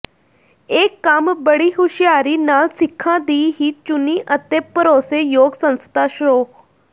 ਇਹ ਕੰਮ ਬੜੀ ਹੁਸ਼ਿਆਰੀ ਨਾਲ਼ ਸਿੱਖਾਂ ਦੀ ਹੀ ਚੁਣੀ ਅਤੇ ਭਰੋਸੇ ਯੋਗ ਸੰਸਥਾ ਸ਼੍ਰੋ